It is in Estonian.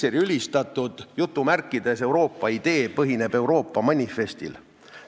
Mikseri ülistatud "Euroopa idee" põhineb Euroopa manifestil.